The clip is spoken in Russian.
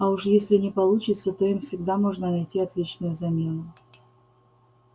а уж если не получится то им всегда можно найти отличную замену